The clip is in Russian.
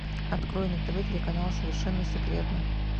открой на тв телеканал совершенно секретно